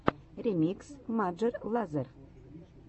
ремикс маджер лазер